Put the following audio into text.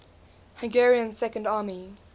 hungarian second army